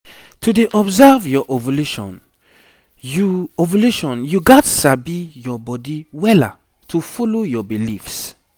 to dey observe your ovulation you ovulation you gats sabi your body wella to follow your beliefs